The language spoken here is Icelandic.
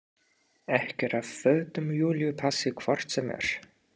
Ekkert af fötum Júlíu passi hvort sem er.